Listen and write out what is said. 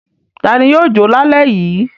Ta ni yóò jọ lálẹ́ yìí?